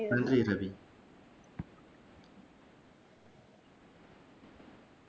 நன்றி ரவி